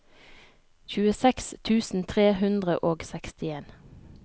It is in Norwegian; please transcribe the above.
tjueseks tusen tre hundre og sekstien